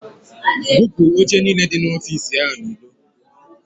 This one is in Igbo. Bupu oche niile dị n'ọfici a n'ilo!